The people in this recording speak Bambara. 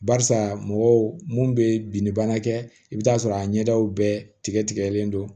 Barisa mɔgɔw mun bɛ binni bana kɛ i bɛ t'a sɔrɔ a ɲɛdaw bɛɛ tigɛlen don